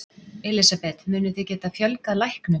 Elísabet: Munið þið geta fjölgað læknum?